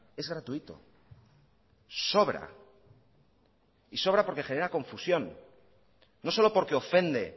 es gratuito sobra y sobra porque genera confusión no solo porque ofende